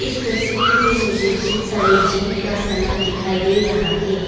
इस तस्वीर में मुझे बहुत सारे जिम का सामान दिखाई दे रहा है।